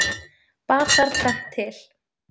Bar þar tvennt til.